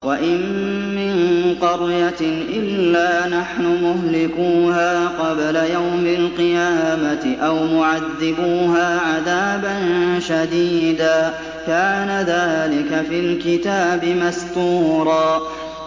وَإِن مِّن قَرْيَةٍ إِلَّا نَحْنُ مُهْلِكُوهَا قَبْلَ يَوْمِ الْقِيَامَةِ أَوْ مُعَذِّبُوهَا عَذَابًا شَدِيدًا ۚ كَانَ ذَٰلِكَ فِي الْكِتَابِ مَسْطُورًا